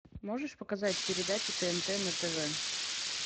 можешь показать передачу тнт на тв